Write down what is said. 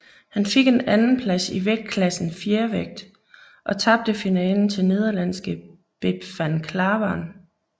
Han fik en andenplads i vægtklassen fjervægt og tabte finalen til nederlandske Bep van Klaveren